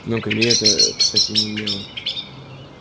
но к илье это к стати не имело